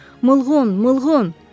Mılğon, Mılğon!